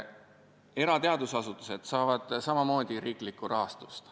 Erateadusasutused saavad samamoodi riiklikku rahastust.